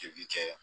cɛ